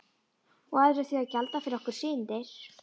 Og aðrir þurfa að gjalda fyrir okkar syndir.